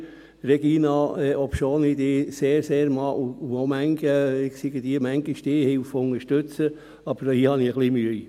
Regina Fuhrer, obwohl ich Sie sehr, sehr mag, und x-beliebige Stehhilfe unterstütze, habe ich hier ein bisschen Mühe.